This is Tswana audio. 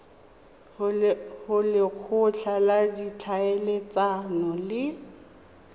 go lekgotla la ditlhaeletsano le